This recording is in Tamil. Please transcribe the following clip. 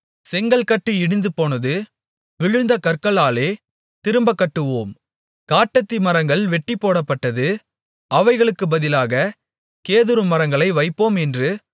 செங்கல்கட்டு இடிந்துபோனது விழுந்த கற்களாலே திரும்பக் கட்டுவோம் காட்டத்திமரங்கள் வெட்டிப்போடப்பட்டது அவைகளுக்குப் பதிலாகக் கேதுருமரங்களை வைப்போம் என்று